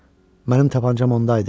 Mənim tapançam onda idi?